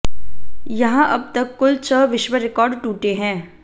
यहां अब तक कुल छह विश्व रिकॉर्ड टूटे हैं